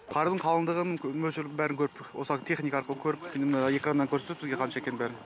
қардың қалыңдығын мөлшерін бәрін көріп осы техника арқылы көріп экраннан көрсетеді бізге қанша екенін бәрін